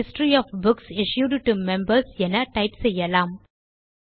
history of books issued to members என type செய்யலாம்